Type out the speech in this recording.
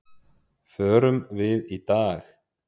Förum við í dag?